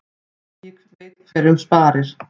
Eigi veit hverjum sparir.